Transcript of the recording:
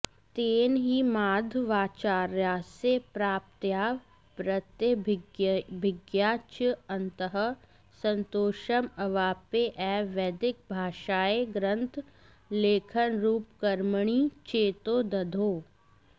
तेन हि माधवाचार्यस्य प्राप्तया प्रत्यभिज्ञया च अन्तःसन्तोषम् अवाप्य एव वैदिकभाष्यग्रन्थलेखनरूपकर्मणि चेतो दधौ